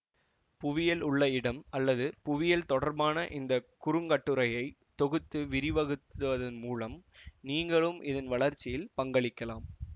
புவியல் உள்ள இடம் அல்லது புவியல் தொடர்பான இந்த குறுங்கட்டுரையை தொகுத்து விரிவகுத்துவதன் மூலம் நீங்களும் இதன் வளர்ச்சியில் பங்களிக்கலாம்